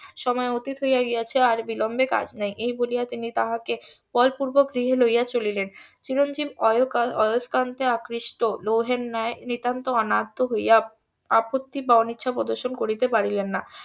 সময় অতীত হইয়া গিয়াছে আর বিলম্বে কাজ নাই এই বলিয়া তিনি তাহাকে বলপূর্বক গৃহে লইয়া চলিলেন চিরঞ্জিব . আকৃষ্ট লৌহের ন্যায় নিতান্ত অনাদ্য হইয়া আপত্তি বা অনিচ্ছা প্রদর্শন করিতে পারিলেন না